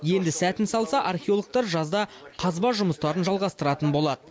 енді сәтін салса археологтар жазда қазба жұмыстарын жалғастыратын болады